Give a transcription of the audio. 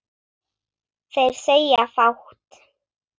Þeir segja fátt